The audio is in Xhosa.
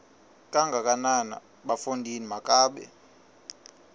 kangakanana bafondini makabe